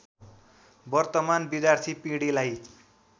वर्तमान विद्यार्थी पिँढीलाई